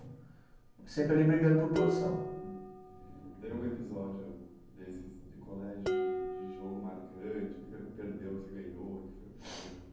Sempre ali brigando por posição. Hum. Teve algum episódio desses de colégio, de de jogo marcante, que perdeu, que você ganhou